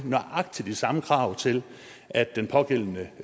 nøjagtig de samme krav til at den pågældende